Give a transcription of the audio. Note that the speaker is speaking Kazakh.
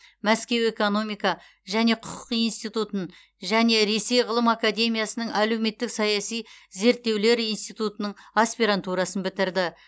мәскеу экономика және құқық институтын және ресей ғылым академиясының әлеуметтік саяси зерттеулер институтының аспирантурасын бітірді